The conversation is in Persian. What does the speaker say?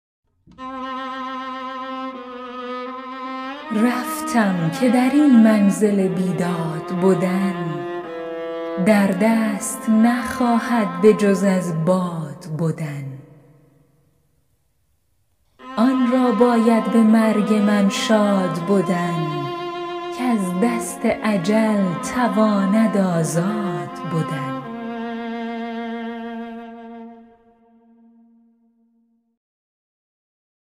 رفتم که در این منزل بیداد بدن در دست نخواهد بجز از باد بدن آن را باید به مرگ من شاد بدن کز دست اجل تواند آزاد بدن